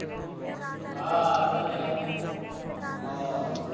हा संध्याकाळचे ना हा.